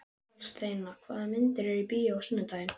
Aðalsteina, hvaða myndir eru í bíó á sunnudaginn?